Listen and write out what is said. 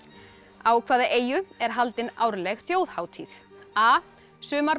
á hvaða eyju er haldin árleg þjóðhátíð a